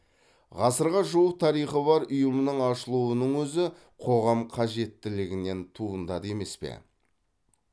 ғасырға жуық тарихы бар ұйымның ашылуының өзі қоғам қажеттілігінен туындады емес пе